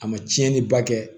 A ma tiɲɛni ba kɛ